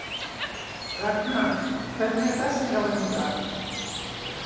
Ragna, hvernig er dagskráin í dag?